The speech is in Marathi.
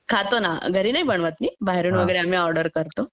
खातो ना घरी नाही बनवत मी बाहेरून वगैरे आम्ही ऑर्डर करतो